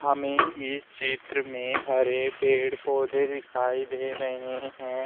हमें इस क्षेत्र में हरे पेड़ पौधे दिखाई दे रहे हैं।